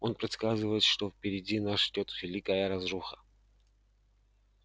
он предсказывает что впереди нас ждёт великая разруха